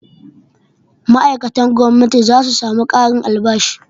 Ma'aikatan gwamnati za su samu ƙarin albashi.